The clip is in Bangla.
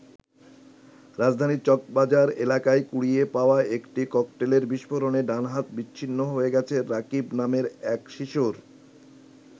রাজধানীর চকবাজার এলাকায় কুড়িয়ে পাওয়া একটি ককটেলের বিস্ফোরণে ডান হাত বিচ্ছ্ন্নি হয়ে গেছে রাকিব নামের এক শিশুর।